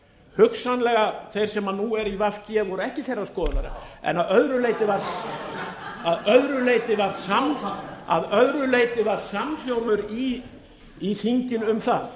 hugsanlega þeir sem nú eru í en voru ekki þeirrar skoðunar en að öðru leyti var samhljómur í þinginu um það